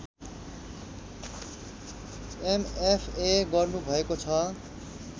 MFA गर्नुभएको छ